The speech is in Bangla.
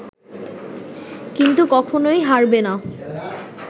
কিন্তু কখনোই হারবে না